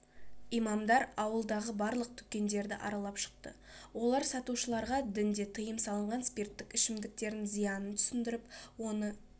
имамдар ауылдағы барлық дүкендерді аралап шықты олар сатушыларға дінде тыйым салынған спирттік ішімдіктердің зиянын түсіндіріп оны